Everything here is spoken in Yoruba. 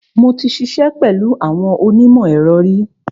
Mo ti ṣiṣẹ́ pẹ̀lú àwọn onímọ̀-ẹ̀rọ ri.